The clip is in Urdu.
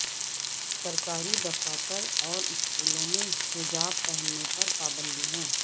سرکاری دفاتر اور سکولوں میں حجاب پہننے پر پابندی ہے